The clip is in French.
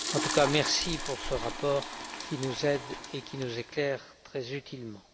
En tout cas, merci pour ce rapport qui nous aide et nous éclaire très utilement.